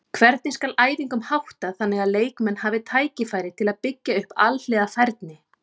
Hvernig skal æfingum háttað þannig að leikmenn hafi tækifæri til að byggja upp alhliða færni?